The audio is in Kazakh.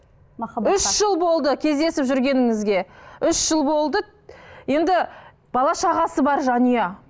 үш жыл болды кездесіп жүргеніңізге үш жыл болды енді бала шағасы бар жанұя